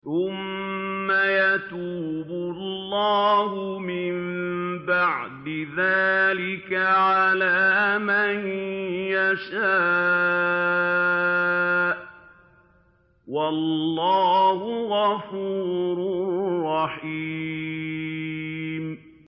ثُمَّ يَتُوبُ اللَّهُ مِن بَعْدِ ذَٰلِكَ عَلَىٰ مَن يَشَاءُ ۗ وَاللَّهُ غَفُورٌ رَّحِيمٌ